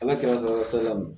An ka kɛmɛ fila saba ma